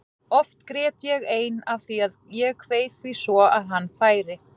Oft grét ég ein af því að ég kveið því svo að hann færi.